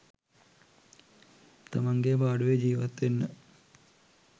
තමන්ගේ පාඩුවේ ජීවත් වෙන්න.